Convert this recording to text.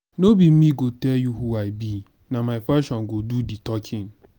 no be me go tel you who i be. na my fashion go do di talking.